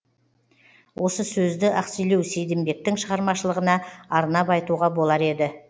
осы сөзді ақселеу сейдімбектің шығармашылығына арнап айтуға болар еді